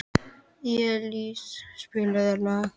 Elís, spilaðu lag.